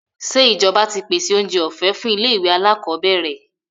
Ṣé ìjọba ti pèsèoúnjẹ ọ̀fẹ́ fún ilé-ìwé alákọọ́bẹ̀rẹ̀?